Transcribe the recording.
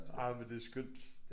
Jamen det skønt